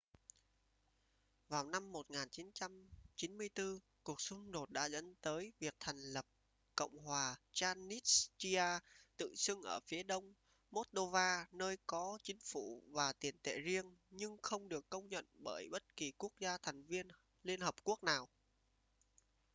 vào năm 1994 cuộc xung đột đã dẫn tới việc thành lập cộng hòa transnistria tự xưng ở phía đông moldova nơi có chính phủ và tiền tệ riêng nhưng không được công nhận bởi bất kỳ quốc gia thành viên liên hợp quốc nào